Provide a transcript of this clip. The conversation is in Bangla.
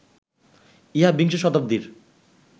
ইহা বিংশ শতাব্দীর